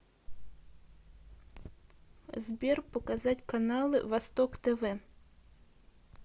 сбер показать каналы восток тв